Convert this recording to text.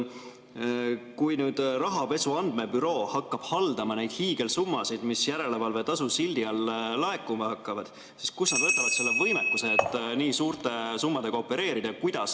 Kui Rahapesu Andmebüroo hakkab haldama neid hiigelsummasid, mis järelevalvetasu sildi all laekuma hakkavad, siis kust nad võtavad võimekuse, et nii suurte summadega opereerida?